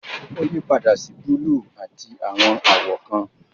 Ó yípadà sí búlúù àti àwọn àwọ̀ kan.